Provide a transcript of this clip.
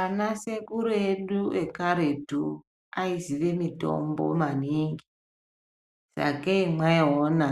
Anasekuru edu ekaretu aizive mitombo maningi, sakei mwaiona